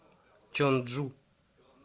чонджу